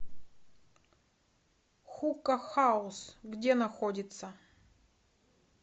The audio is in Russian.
хука хаус где находится